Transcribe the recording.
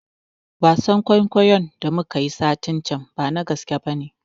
Wasan kuikuyo da muka yi satin can bana gaskiya bane